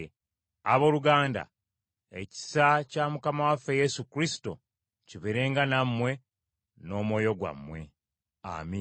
Abooluganda, ekisa kya Mukama waffe Yesu Kristo kibeerenga nammwe n’omwoyo gwammwe. Amiina.